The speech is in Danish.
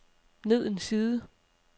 ned en side